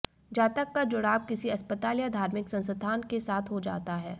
जातक का जुडाव किसी अस्पताल या धार्मिक संस्थान के साथ हो जाता है